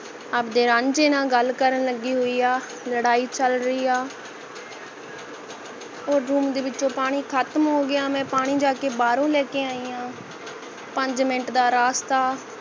ਆਪਦੇ ਰਾਂਝੇ ਨਾਲ ਗੱਲ ਕਰਨ ਲਗੀ ਹੋਈ ਹੈ ਲੜਾਈ ਚਲ ਰਹੀ ਹੈ ਹੋਰ room ਦੇ ਵਿੱਚੋ ਪਾਣੀ ਖਤਮ ਹੋ ਗਿਆ ਮੈਂ ਪਾਣੀ ਬਾਹਰੋਂ ਜਾਕੇ ਲੈਕੇ ਆਈ ਹਾਂ ਪੰਜ minute ਦਾ ਰਾਸਤਾ